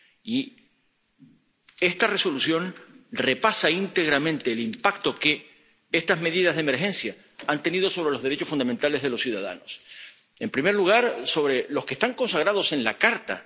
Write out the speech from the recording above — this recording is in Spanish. Y esta Resolución repasa íntegramente el impacto que estas medidas de emergencia han tenido sobre los derechos fundamentales de los ciudadanos, en primer lugar, sobre los que están consagrados en la Carta.